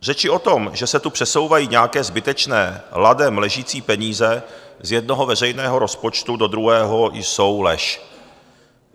Řeči o tom, že se tu přesouvají nějaké zbytečně ladem ležící peníze z jednoho veřejného rozpočtu do druhého, jsou lež.